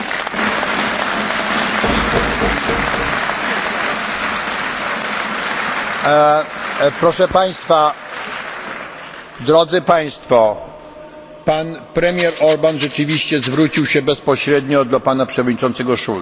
Proszę Państwa, pan premier Orbán rzeczywiście zwrócił się bezpośrednio do pana przewodniczącego Schulza tak było właśnie z tym zastrzeżeniem, że to może obrażać naród węgierski.